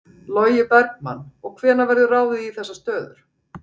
Logi Bergmann: Og hvenær verður ráðið í þessar stöður?